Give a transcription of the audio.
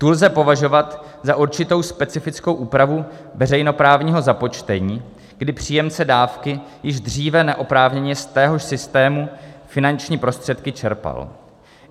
Tu lze považovat za určitou specifickou úpravu veřejnoprávního započtení, kdy příjemce dávky již dříve neoprávněně z téhož systému finanční prostředky čerpal.